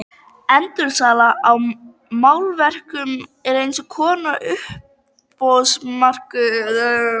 Endursala á málverkum er eins konar uppboðsmarkaður.